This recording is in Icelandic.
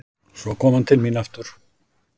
Svo kom hann til mín aftur.